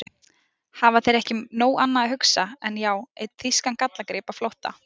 Hafa þeir ekki um nóg annað að hugsa en. já, einn þýskan gallagrip á flótta?